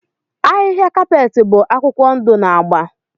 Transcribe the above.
Ahịhịa kapeeti bụ akwụkwọ ndụ na agba.